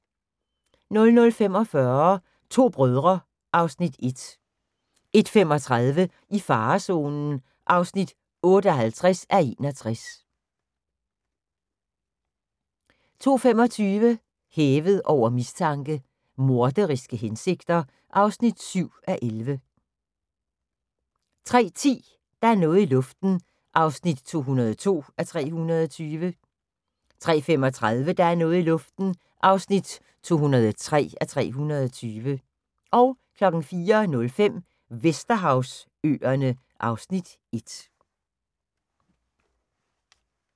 00:45: To brødre (Afs. 1) 01:35: I farezonen (58:61) 02:25: Hævet over mistanke: Morderiske hensigter (7:11) 03:10: Der er noget i luften (202:320) 03:35: Der er noget i luften (203:320) 04:05: Vesterhavsøerne (Afs. 1)